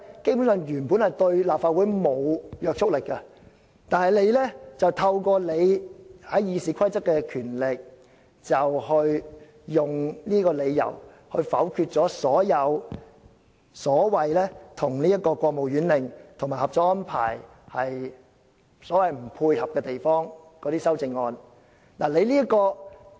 以上兩者原本對立法會沒有約束力，但透過《議事規則》賦予你的權力，你以不符合國務院令及《合作安排》這個理由否決了一些修正案。